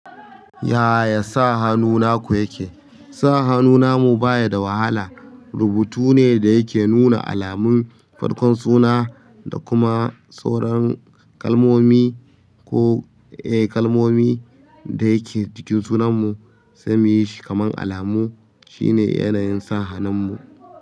Yaya sa hanu naku yake? Sa hannu namu baya da wahala. Rubutu ne da yake nuna alamun farkon suna da kuma sauran kalmomi ko, eh kalmomi dayake jikin sunanmu, sai muyi shi kaman alamu. Shine yanayin sa hanunmu.